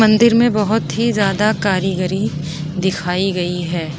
मंदिर में बोहोत ही ज्यादा कारीगरी दिखाई गई है।